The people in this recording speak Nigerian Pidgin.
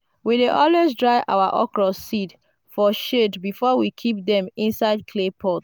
we dey always dry our okra seed for shade before we keep them inside clay pot.